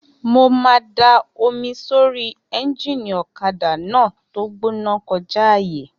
Mo máa da omi sórí éúnjínì ọ̀kadà náà tó gbóná kọjá àyè